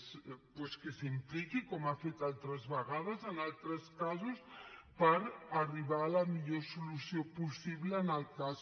doncs que s’hi impliqui com ha fet altres vegades en altres casos per arribar a la millor solució possible en el cas